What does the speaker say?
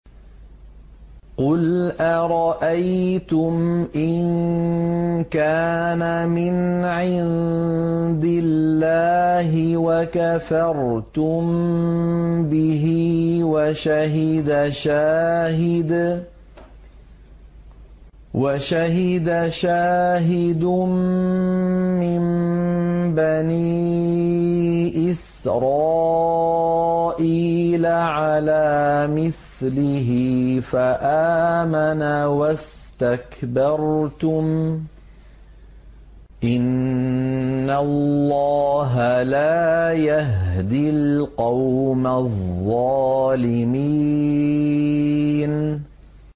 قُلْ أَرَأَيْتُمْ إِن كَانَ مِنْ عِندِ اللَّهِ وَكَفَرْتُم بِهِ وَشَهِدَ شَاهِدٌ مِّن بَنِي إِسْرَائِيلَ عَلَىٰ مِثْلِهِ فَآمَنَ وَاسْتَكْبَرْتُمْ ۖ إِنَّ اللَّهَ لَا يَهْدِي الْقَوْمَ الظَّالِمِينَ